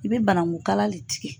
I bɛ banagu kala le tigɛ.